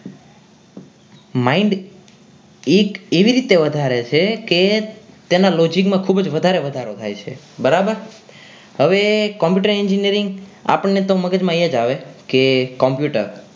mind it એવી રીતે વધારે છે કે તેના logic માં ખૂબ જ વધારે વધારો થાય છે બરાબર હવે computer engineering આપણને તો મગજમાં એ જ આવે કે Computer